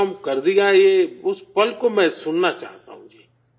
یہ کام کر دیا یہ اس پل کو میں سننا چاہتا ہوں